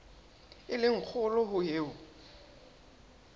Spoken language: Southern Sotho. e le kgolo ho eo